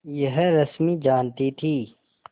यह रश्मि जानती थी